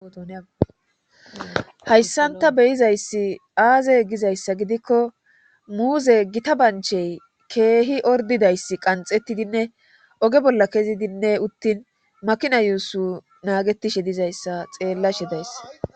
hayssan ta beyizayssi aaze gizayssa gidikko muuze gita banchey keehi ordidayss qanxettidinne oge bolla kezidinne uttin makina yuussu naagetishe dizayssa xeellashe days